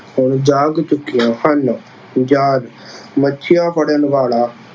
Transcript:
ਹੁਣ ਜਾਗ ਚੁੱਕੀਆਂ ਹਨ। ਜਾਲ- ਮੱਛੀਆਂ ਫੜ੍ਹਨ ਵਾਲਾ